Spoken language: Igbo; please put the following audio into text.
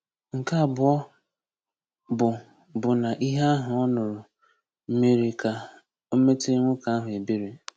Nke abụọ bụ bụ na ihe ahụ ọ nụrụ mere ka o metere nwoke ahụ ebere.